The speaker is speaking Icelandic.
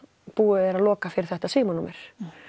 búið er að loka fyrir þetta símanúmer